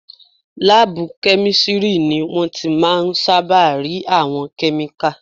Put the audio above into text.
Láàbù kẹ́mísítírì ni wọ́n ti máà ń sáábà rí àwọn kẹ́míkà